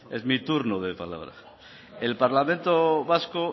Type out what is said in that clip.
es mi turno de palabra el parlamento vasco